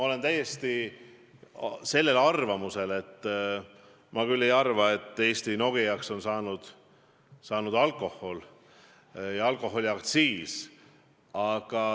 Samas ma küll ei arva, et Eesti Nokiaks on saanud alkohol ja alkoholiaktsiis.